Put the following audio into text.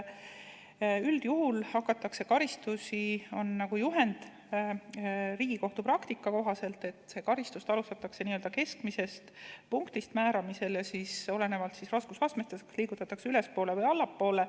Üldjuhul alustatakse karistusi Riigikohtu praktika kohaselt n-ö keskmisest punktist ja olenevalt raskusastmest liigutatakse ülespoole või allapoole.